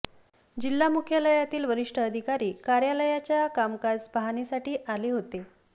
जिल्हा मुख्यालयातील वरिष्ठ अधिकारी कार्यालयाच्या कामकाज पाहणीसाठी आले होते